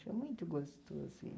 Muito gostoso.